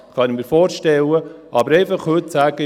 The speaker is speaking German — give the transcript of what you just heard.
Das kann ich mir vorstellen, aber heute einfach zu sagen: